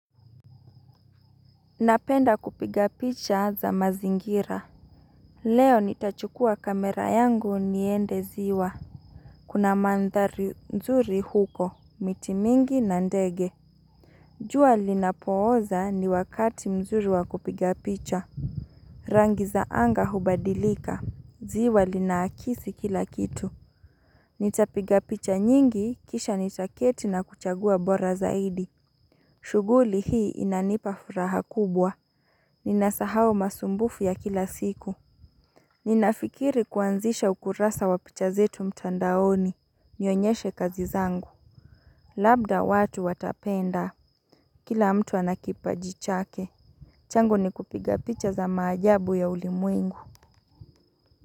Napenda kupiga picha za mazingira Leo nitachukua kamera yangu niende ziwa Kuna mandhari nzuri huko miti mingi na ndege jua linapooza ni wakati nzuri wa kupiga picha Rangi za anga hubadilika ziwa lina akisi kila kitu Nitapiga picha nyingi kisha nitaketi na kuchagua bora zaidi shuguli hii inanipa furaha kubwa Ninasahau masumbufu ya kila siku. Ninafikiri kuanzisha ukurasa wa picha zetu mtandaoni. Nionyeshe kazi zangu. Labda watu watapenda. Kila mtu anakipaji chake. Changu ni kupiga picha za majabu ya ulimwengu.